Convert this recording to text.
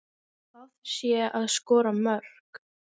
Það sé að skora mörk.